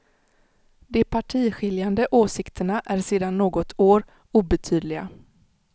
De partiskiljande åsikterna är sedan något år obetydliga.